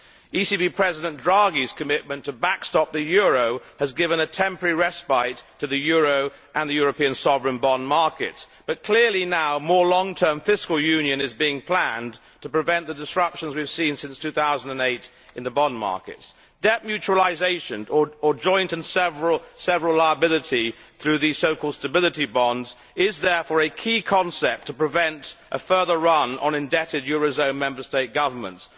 ECB President Draghi's commitment to backstop the euro has given a temporary respite to the euro and the European sovereign bond markets but clearly more long term fiscal union is now being planned to prevent the disruptions we have seen since 2008 in the bond markets. Debt mutualisation, or joint and several liability through the so called stability bonds, is therefore a key concept to prevent a further run on indebted eurozone Member State governments.